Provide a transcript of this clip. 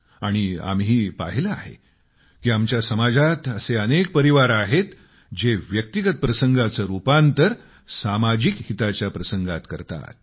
आणि आम्ही पाहिले आहे की आमच्या समाजात असे अनेक परिवार आहेत जे व्यक्तिगत प्रसंगाचे रुपांतर सामाजिक हिताच्या प्रसंगात करतात